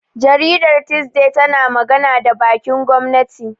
Jaridar Thisday tana magana da bakin gwamnati.